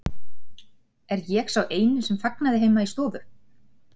Er ég eini sem fagnaði heima í stofu?